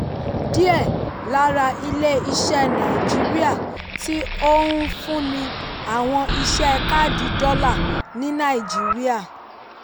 díẹ̀ lára ilé-iṣẹ́ naijiria tí ó ń fúnni àwọn iṣẹ́ káàdì dọ́là ní nàìjíríà.